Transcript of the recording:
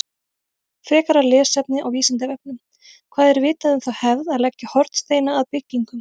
Frekara lesefni á Vísindavefnum: Hvað er vitað um þá hefð að leggja hornsteina að byggingum?